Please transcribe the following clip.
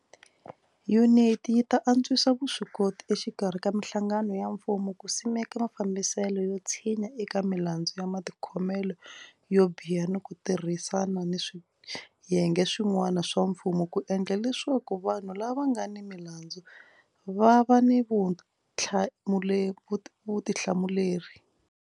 Yuniti yi ta antswisa vuswikoti exikarhi ka mihlangano ya mfumo ku simeka mafambiselo yo tshinya eka milandzu ya matikhomelo yo biha ni ku tirhisana ni swiyenge swi n'wana swa mfumo ku endla leswaku vanhu lava nga ni milandzu va va ni vutihlamuleri.